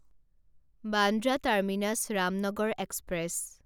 Bandra terminus Ramnagar express